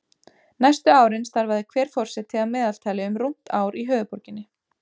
Næstu árin starfaði hver forseti að meðaltali um rúmt ár í höfuðborginni.